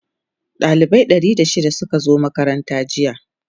dalibai Ɗari da shida Suka zo makaranta jiya